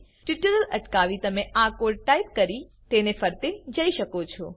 tutorial અટકાવી તમે આ કોડ ટાઈપ કરી તેને ફરતે જી શકો છો